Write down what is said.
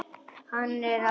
Hann er allt annar maður.